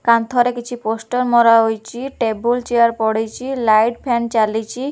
କାନ୍ଥରେ କିଛି ପୋଷ୍ଟର ମରାହୋଇଛି ଟେବୁଲ ଚେୟାର ପଡିଛି ଲାଇଟ ଫ୍ୟାନ ଚାଲିଛି।